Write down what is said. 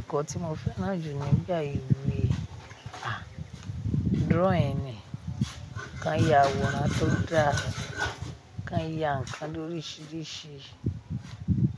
Ẹ̀kọ́ tí mo fẹ́ràn jù ni nígbà ìwé a, drawing ni, kí a yà aworan tó dá, kí a yà ǹkan lórísìírísìí,